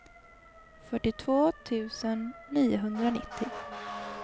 fyrtiotvå tusen niohundranittio